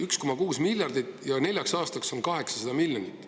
1,6 miljardit ja neljaks aastaks on 800 miljonit.